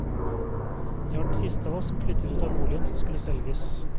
Jeg var den siste av oss som flyttet ut av boligen som skulle selges.